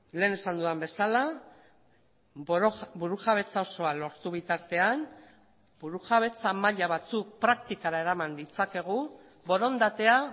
lehen esan dudan bezala burujabetza osoa lortu bitartean burujabetza maila batzuk praktikara eraman ditzakegu borondatea